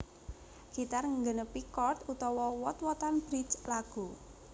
Gitar nggenepi chord utawa wot wotan bridge lagu